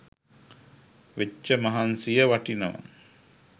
වෙච්ච මහන්සිය වටිනවා